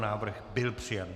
Návrh byl přijat.